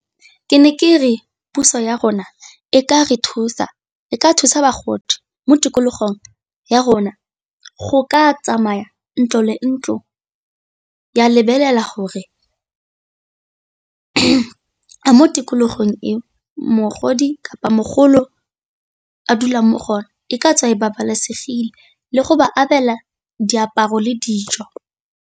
Ke ne ke re puso ya rona e ka re thusa e ka thusa bagodi mo tikologong ya rona, go ka tsamaya ntlo le ntlo ya lebelela gore mo tikologong eo mogodi, kapa mogolo a dulang mo go yone e ka tswa e babalesegile le go ba abela diaparo le dijo.